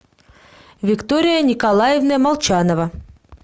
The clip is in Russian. виктория николаевна молчанова